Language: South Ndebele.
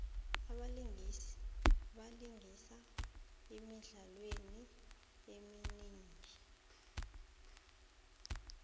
abalingisi balingisa emidlalweni eminingi